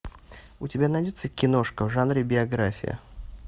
у тебя найдется киношка в жанре биография